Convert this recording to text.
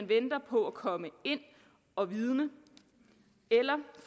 venter på at komme ind og vidne eller